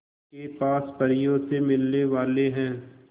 के पास परियों से मिलने वाले हैं